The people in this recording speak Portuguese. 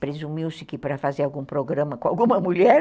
Presumiu-se que para fazer algum programa com alguma mulher.